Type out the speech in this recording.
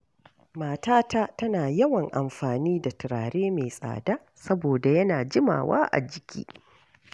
Matata tana yawan amfani da turare mai tsada saboda yana jimawa a jiki.